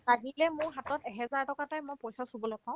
আজিকলে মোৰ হাতত এহেজাৰ এ টকা এটাই পইচা চুবলে পাও